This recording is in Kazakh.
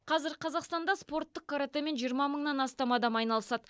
қазір қазақстанда спорттық каратэмен жиырма мыңнан астам адам айналысады